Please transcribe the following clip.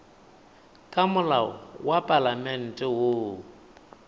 ka molao wa palamente woo